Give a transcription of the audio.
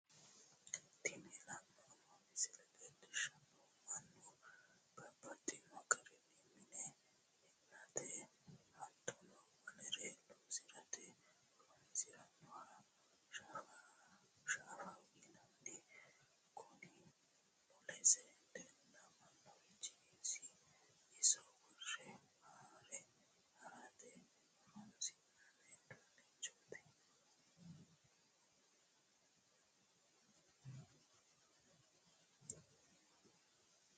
Tini la'neemo misile leellishanohu mannu babaxxino garinni mine mi'mate hatono wolere loosirate horonsiranohha shaaffaho yinanni, kuni mulesi la'neemorichi iso wore haare harate horonsinanni uduunetti